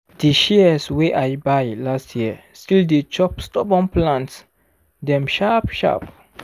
di shears wey i buy last year still dey chop stubborn plant dem sharp sharp.